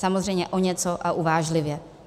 Samozřejmě o něco a uvážlivě.